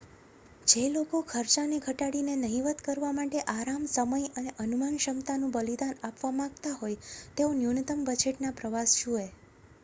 જે લોકો ખર્ચાને ઘટાડીને નહિવત્ કરવા માટે આરામ સમય અને અનુમાનક્ષમતાનું બલિદાન આપવા માગતા હોય તેઓ ન્યૂનતમ બજેટના પ્રવાસ જુએ